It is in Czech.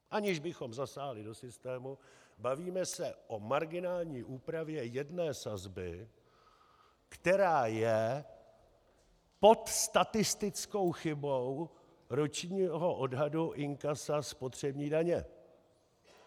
Aniž bychom zasáhli do systému, bavíme se o marginální úpravě jedné sazby, která je pod statistickou chybou ročního odhadu inkasa spotřební daně.